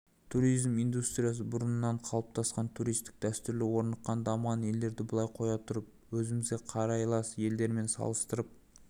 туризм индустриясы бұрыннан қалыптасқан туристік дәстүрлері орныққан дамыған елдерді былай қоя тұрып өзімізге қарайлас елдерімен салыстырып